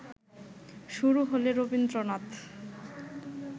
শুরু হলে রবীন্দ্রনাথ